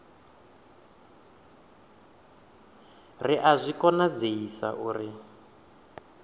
ri a zwi konadzei uri